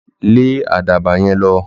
Lé àdàbà yen lõ